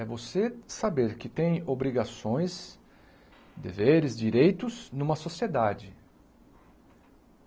É você saber que tem obrigações, deveres, direitos numa sociedade.